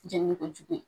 Jɛnni ko jugu ye